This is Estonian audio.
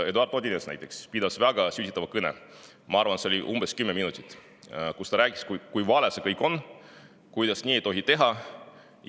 Eduard Odinets pidas seal väga sütitava kõne – ma arvan, et see kestis umbes kümme minutit –, milles ta rääkis, kui vale see kõik on ja kuidas nii ei tohi teha.